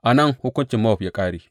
A nan hukuncin Mowab ya ƙare.